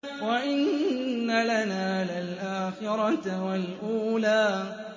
وَإِنَّ لَنَا لَلْآخِرَةَ وَالْأُولَىٰ